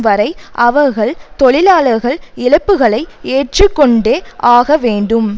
வரை அவர்கள் தொழிலாளர்கள் இழப்புகளை ஏற்று கொண்டே ஆக வேண்டும்